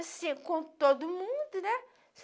Assim, com todo mundo, né?